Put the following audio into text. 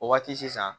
O waati sisan